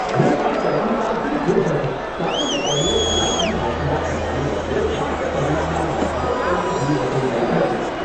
હું આ સલાહકારથી ખુશ હતો કારણ કે તેમણે કલાકદીઠ વસુલાત કરવાને બદલે પ્રાપ્ત પરિણામોના આધારે તેમની ફી વસૂલ કરી હતી.